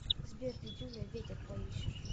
сбер дидюля ветер поищешь